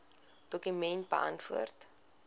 dokument beantwoord